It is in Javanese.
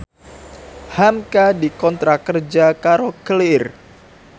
hamka dikontrak kerja karo Clear